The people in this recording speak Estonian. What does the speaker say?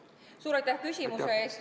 Suur aitäh küsimuse eest!